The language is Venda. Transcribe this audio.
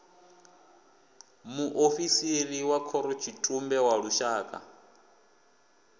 muofisiri wa khorotshitumbe wa lushaka